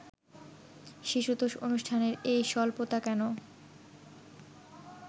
শিশুতোষ অনুষ্ঠানের এই স্বল্পতা কেন